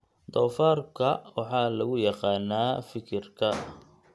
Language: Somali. Doofaarka waxaa lagu yaqaanaa fikirka.